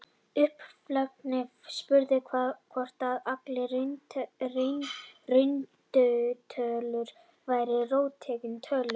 Upphaflega spurningin var hvort allar rauntölur væru róttækar tölur.